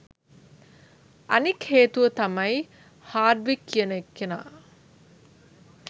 අනික් හේතුව තමයි හාඩ්වික් කියන කෙනා